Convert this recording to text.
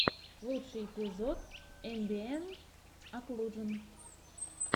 лучший эпизод эмбиэнт оклужен